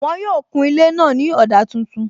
Wọn yóò kun ilé náà ní ọ̀dà tuntun